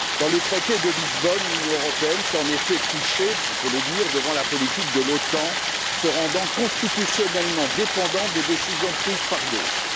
Dans ce traité, l'Union européenne s'est en effet couchée, on peut le dire, devant la politique de l'OTAN en se rendant constitutionnellement dépendante des décisions prises par d'autres.